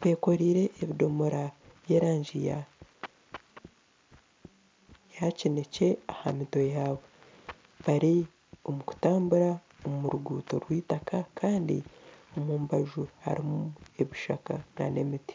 bekoreire ebidomora by'erangi eya kinekye ahamitwe yabo bari omukutambura omuruguuto rw'itaka kandi omumbaju harumu ebishaka n'emiti.